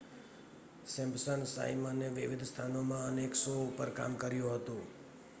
Simpson સાઈમને વિવિધ સ્થાનોમાં અનેક શો ઉપર કામ કર્યું હતું